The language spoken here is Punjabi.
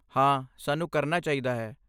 ਹਾਂ, ਸਾਨੂੰ ਕਰਨਾ ਚਾਹੀਦਾ ਹੈ।